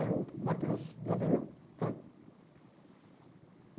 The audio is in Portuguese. Aí o me atendeu, sabe?